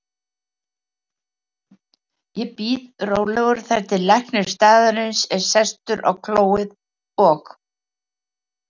Ég bíð rólegur þar til læknir staðarins er sestur á klóið og